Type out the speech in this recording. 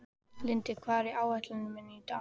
Lindi, hvað er á áætluninni minni í dag?